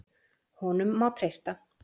Honum má treysta.